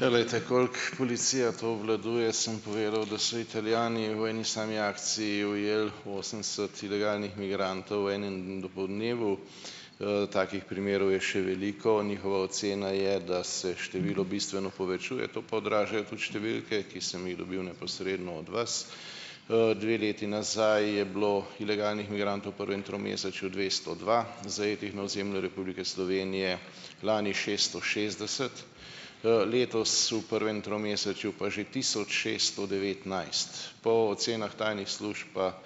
Ja, glejte, koliko policija to obvladuje, sem povedal, da so Italijani v eni sami akciji ujeli osemdeset ilegalnih migrantov, v enem dopoldnevu. Takih primerov je še veliko. Njihova ocena je, da se število bistveno povečuje, to pa odražajo tudi številke, ki sem jih dobil neposredno od vas. Dve leti nazaj je bilo ilegalnih migrantov v prvem tromesečju dvesto dva, zajetih na ozemlju Republike Slovenije, lani šesto šestdeset, letos v prvem tromesečju pa že tisoč šeststo devetnajst. Po ocenah tajnih služb pa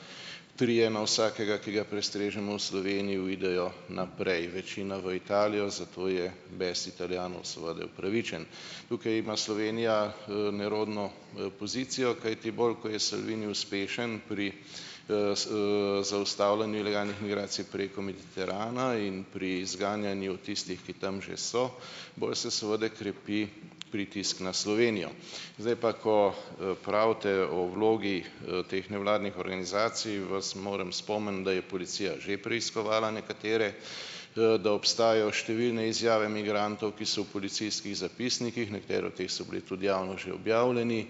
trije na vsakega, ki ga prestrežemo v Sloveniji, uidejo naprej. Večina v Italijo, zato je bes Italijanov seveda upravičen. Tukaj ima Slovenija, nerodno pozicijo, kajti bolj, ko je Salvini uspešen pri zaustavljanju ilegalnih migracij preko Mediterana in pri zganjanju tistih, ki tam že so, bolj se seveda krepi pritisk na Slovenijo. Zdaj pa, ko, pravite o vlogi teh nevladnih organizacij, vas moram spomniti, da je policija že preiskovala nekatere, da obstajajo številne izjave migrantov, ki so v policijskih zapisnikih, nekatere od teh so bili tudi javno že objavljeni,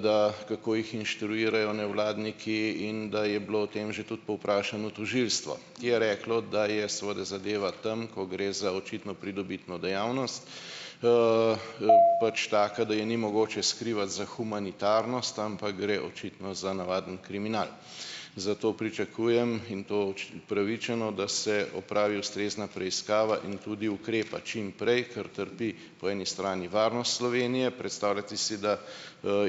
da kako jih inštruirajo nevladniki, in da je bilo o tem že tudi povprašano tožilstvo, ki je reklo, da je seveda zadeva tam, ko gre za očitno pridobitno dejavnost, pač taka, da je ni mogoče skrivati za humanitarnost, ampak gre očitno za navaden kriminal. Zato pričakujem in to upravičeno, da se opravi ustrezna preiskava in tudi ukrepa čim prej, ker trpi po eni strani varnost Slovenije. Predstavljajte si, da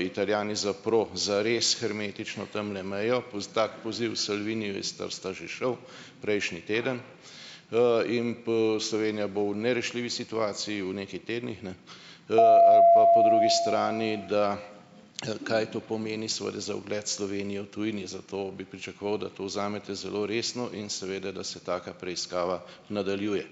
Italijani zaprli zares hermetično tamle mejo, tako poziv Salviniju je sta sta že šel prejšnji teden, in Slovenija bo v nerešljivi situaciji, v nekaj tednih, ne. Ali pa po drugi strani, da kaj to pomeni seveda za ugled Slovenije v tujini, zato bi pričakoval, da to vzamete zelo resno in seveda, da se taka preiskava nadaljuje.